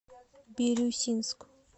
бирюсинск